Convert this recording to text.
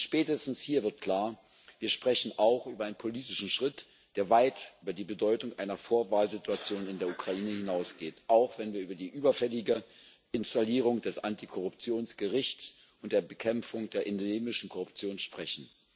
Spätestens hier wird klar Wir sprechen auch über einen politischen Schritt, der weit über die Bedeutung einer Vorwahl Situation in der Ukraine hinausgeht auch wenn wir über die überfällige Installierung des Antikorruptionsgerichts und der Bekämpfung der endemischen Korruption sprechen.